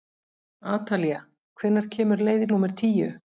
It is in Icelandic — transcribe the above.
Atalía, hvenær kemur leið númer tíu?